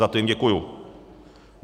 Za to jim děkuji.